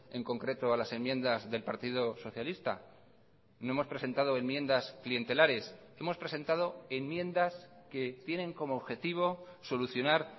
en concreto a las enmiendas del partido socialista no hemos presentado enmiendas clientelares hemos presentado enmiendas que tienen como objetivo solucionar